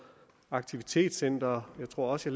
aktivitetscentre jeg tror også